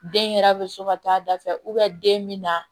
Den yɛrɛ bɛ so ka taa a da fɛ den bɛ na